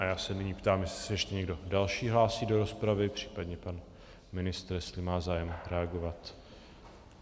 A já se nyní ptám, jestli se ještě někdo další hlásí do rozpravy, případně pan ministr, jestli má zájem reagovat.